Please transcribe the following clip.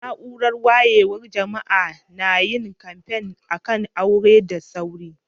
Naúrar wayewan jama'a na yin kamfe a'kan aure da sauri.